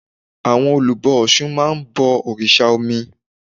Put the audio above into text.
Àwọn olùbọ ọ̀sun máa ń bọ òrìsà omi